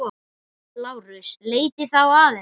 LÁRUS: Leitið þá að henni.